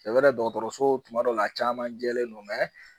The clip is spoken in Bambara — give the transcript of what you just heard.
dɔgɔtɔrɔso tuma dɔ la a caman jɛlen no